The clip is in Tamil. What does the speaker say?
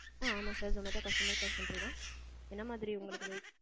ஆ அமா sir Zomato customer care center தான். என்ன மாதிரி உங்களுக்கு உதவி வேணும்.